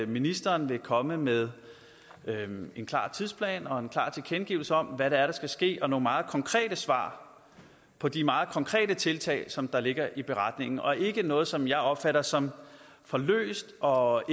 ministeren vil komme med en klar tidsplan og en klar tilkendegivelse om hvad det er der skal ske og nogle meget konkrete svar på de meget konkrete tiltag som der ligger i beretningen og ikke noget som jeg opfatter som for løst og